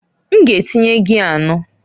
M ga-etinye gia anọ.